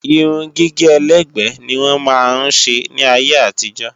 Irun gígé ẹlẹ́gbẹ́ ni wọ́n máa ń ṣe ní ayé àtijọ́